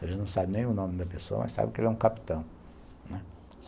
Você não sabe nem o nome da pessoa, mas sabe que ele é um capitão, né.